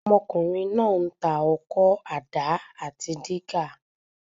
Ọmọkùnrin náà ń tà ọkọ́, àdá àti dígà.